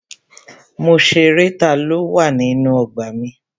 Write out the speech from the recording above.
Mo ṣerẹ́ taló wà nínú ọgbà na.